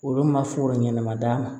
Olu ma foro ɲɛnama d'a ma